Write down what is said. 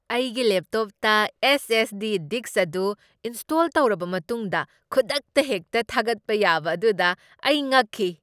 ꯑꯩꯒꯤ ꯂꯦꯞꯇꯣꯞꯇ S. S. D. Disk ꯑꯗꯨ ꯏꯟꯁ꯭ꯇꯣꯜ ꯇꯧꯔꯕ ꯃꯇꯨꯡꯗ ꯈꯨꯗꯛꯇ ꯍꯦꯛꯇ ꯊꯥꯒꯠꯄ ꯌꯥꯕ ꯑꯗꯨꯗ ꯑꯩ ꯉꯛꯈꯤ ꯫